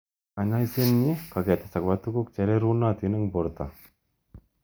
Kanyoisetnkoketes akobo tukuk chererunotin eng borto.